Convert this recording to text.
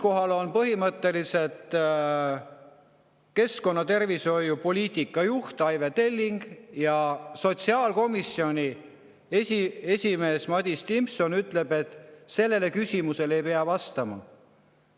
Kohal oli keskkonnatervishoiu poliitika juht Aive Telling ja sotsiaalkomisjoni esimees Madis Timpson ütles, et sellele küsimusele ei pea vastama.